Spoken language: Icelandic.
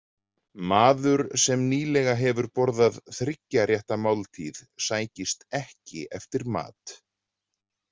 Maður sem nýlega hefur borðað þriggja rétta máltíð sækist ekki eftir mat.